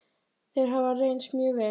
Þeir hafa reynst mjög vel.